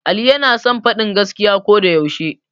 Ali yana son faɗan gaskiya ko da yaushe